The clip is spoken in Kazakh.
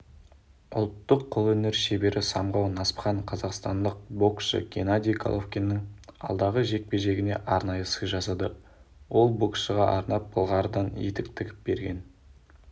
ұлттық қолөнер шебері самғау насыпхан қазақстандық боскшы геннадий головкиннің алдағы жекпе-жегіне арнайы сый жасады ол боксшыға арнап былғарыдан етік тігіп берген